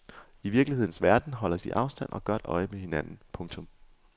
I virkelighedens verden holder de afstand og godt øje med hinanden. punktum